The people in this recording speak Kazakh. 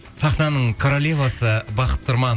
сахнаның королевасы бақыт тұрман